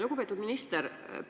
Lugupeetud minister!